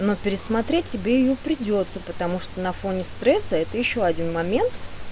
ну пересмотреть тебе её придётся потому что на фоне стресса это ещё один момент